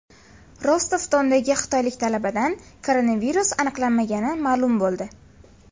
Rostov-Dondagi xitoylik talabadan koronavirus aniqlanmagani ma’lum bo‘ldi .